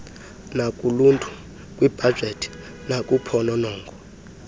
nakuluntu kwibhajethi nakuphononongo